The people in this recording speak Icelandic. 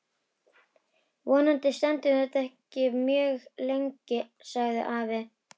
Vonandi stendur þetta ekki mjög lengi sagði afi.